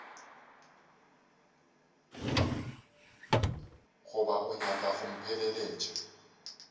goba o nyaka go mpheleletša